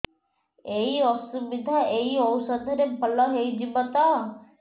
ଏଇ ଅସୁବିଧା ଏଇ ଔଷଧ ରେ ଭଲ ହେଇଯିବ ତ